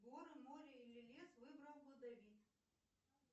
горы море или лес выбрал бы давид